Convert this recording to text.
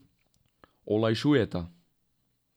Olajšujeta.